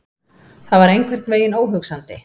Það var einhvern veginn óhugsandi.